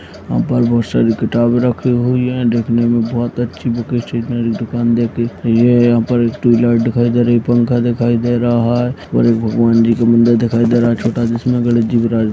यहाँ पर बहुत सारी किताबें रखी हुई हैं देखने में बहुत अच्छी बुक स्टेशनरी दुकान देख के ये यहाँ पर एक ट्यूबलाइट दिखाई दे रही है पंखा दिखाई दे रहा है और एक भगवान जी की मंदिर दिखाई दे रहा --